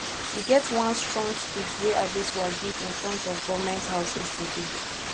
e get one strong speech wey adesuwa give in front of government house yesterday